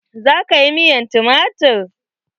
Za ka yi miyar tumatir?